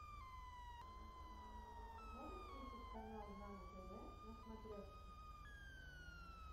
можешь включить канал нано тв на смотрешке